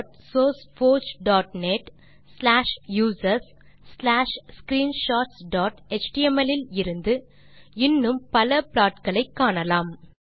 matplotlibsourceforgeநெட் slash users slash screenshotsஎச்டிஎம்எல் இல் இன்னும் பல ப்ளாட் களை காணலாம்